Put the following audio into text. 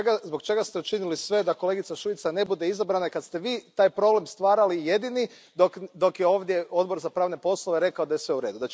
Zbog čega ste učinili sve da kolegica Šuica ne bude izabrana i kad ste Vi taj problem stvarali jedini dok je ovdje Odbor za pravne poslove rekao da je sve u redu?